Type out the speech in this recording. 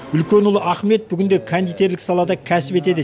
үлкен ұлы ахмет бүгінде кондитерлік салада кәсіп етеді